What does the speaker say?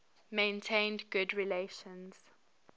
maintained good relations